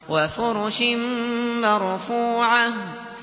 وَفُرُشٍ مَّرْفُوعَةٍ